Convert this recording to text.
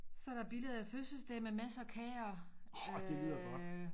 Så der billede af fødselsdag med masser af kager øh